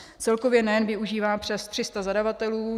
Celkově NEN využívá přes 300 zadavatelů.